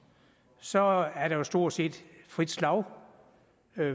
så er der jo stort set frit slag